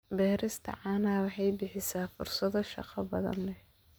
Beerista caanaha waxay bixisaa fursado shaqo oo badan.